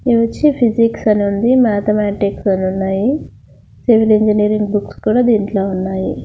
ఇవొచ్చి physics అని ఉంది mathematics అనున్నాయి సివిల్ ఇంజనీరింగ్ బుక్స్ కూడా దీంట్లో ఉన్నాయి.